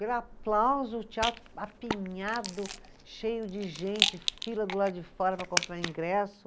Pelo aplauso, o teatro apinhado, cheio de gente, fila do lado de fora para comprar ingresso.